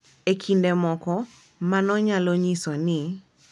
E kinde moko, mano nyalo nyiso ni .